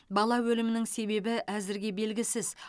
бала өлімінің себебі әзірге белгісіз